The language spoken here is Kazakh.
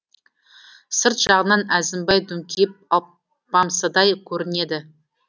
сырт жағынан әзімбай дүңкиіп алпамсадай көрінеді